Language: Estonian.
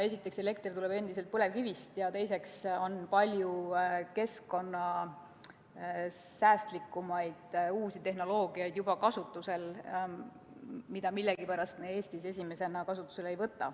Esiteks, meie elekter tuleb endiselt põlevkivist, ja teiseks on juba kasutusel palju keskkonnasäästlikumaid uusi tehnoloogiaid, mida millegipärast me Eestis esimesena kasutusele ei võta.